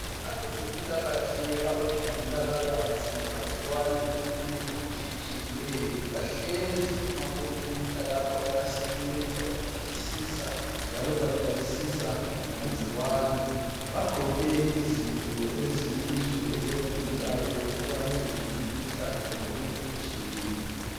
Abezempilakahle abacubungula kabanzi ngamagcikwane lokunye okutshiyetshiyeneyo bahlezi kumakhompiyutha lapha bayasebenza badingisisa njalo baxwayisisa ngamagcikwane bagqoke izinto eziyizo ezibavikela ekubambeni imikhuhlane lokunye okutshiyeneyo.